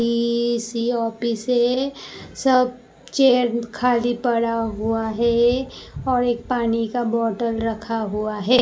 PC office है सब chair खाली पड़ा हुआ है और एक पानी का बॉटल रखा हुआ है।